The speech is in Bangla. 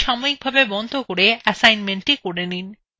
এই tutorial বন্ধ করে এসাইনমেন্টটি করে নিন